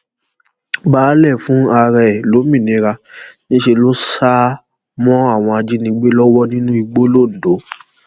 baálé fún ara ẹ lómìnira níṣẹ ló sá mọ àwọn ajínigbé lọwọ nínú igbó loǹdó